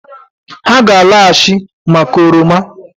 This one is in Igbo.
Ha ga-alọghachị maka oroma